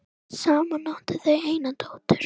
Saman áttu þau eina dóttur.